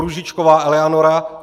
Růžičková Eleanora